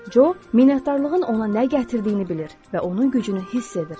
Co minnətdarlığın ona nə gətirdiyini bilir və onun gücünü hiss edir.